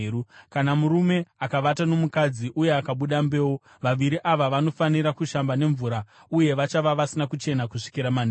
Kana murume akavata nomukadzi uye akabuda mbeu, vaviri ava vanofanira kushamba nemvura uye vachava vasina kuchena kusvikira manheru.